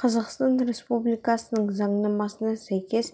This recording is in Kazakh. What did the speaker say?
қазақстан республикасының заңнамасына сәйкес